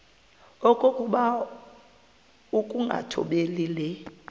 okokuba ukungathobeli le